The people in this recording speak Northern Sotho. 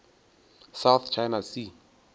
south china sea